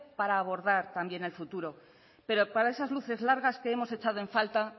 para abordar también el futuro pero para esas luces largas que hemos echado en falta